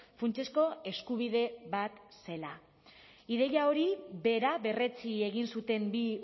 funtsezko eskubide bat zela ideia hori bera berretsi egin zuten bi